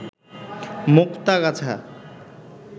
Muktagacha